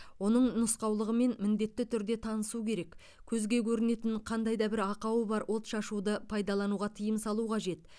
оның нұсқаулығымен міндетті түрде танысу керек көзге көрінетін қандай да бір ақауы бар отшашуды пайдалануға тыйым салу қажет